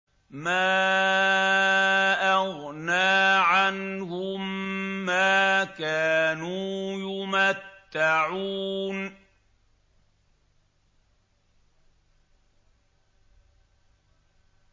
مَا أَغْنَىٰ عَنْهُم مَّا كَانُوا يُمَتَّعُونَ